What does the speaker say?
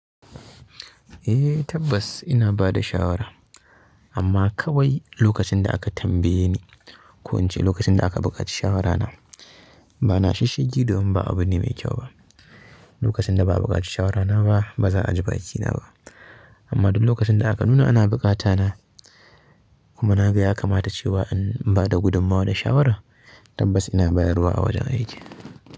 Eh tabbas ina bada shawara amma kawai lokacin da aka tambaye ni. Ko ince lokacin da aka buƙaci shawarana. Ba na shishshigi domin ba abune mai kyau ba. Lokacin da ba'a buƙaci shawarana ba, ba za'aji bakina ba. Amma duk lokacin da aka nuna ana buƙata na kuma naga ya kamata cewa in bada gudummawa da shawara, tabbas ina bayarwa a wajen aiki.